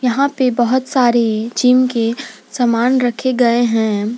यहां पे बहुत सारे जिम के सामान रखे गए हैं।